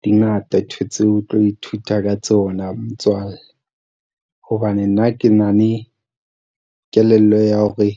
Di ngata ntho tseo o tlo ithuta ka tsona motswalle, hobane nna ke na le kelello ya hore